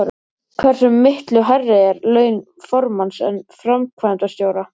Hversu miklu hærri eru laun formanns en framkvæmdastjóra?